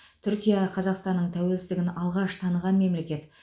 түркия қазақстанның тәуелсіздігін алғаш таныған мемлекет